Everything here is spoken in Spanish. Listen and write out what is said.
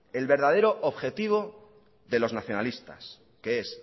el verdadero objetivo de los nacionalistas que es